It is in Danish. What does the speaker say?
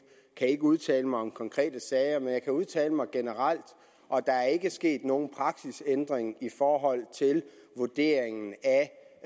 kan ikke udtale mig om konkrete sager men jeg kan udtale mig generelt og der er ikke sket nogen praksisændring i forhold til vurderingen af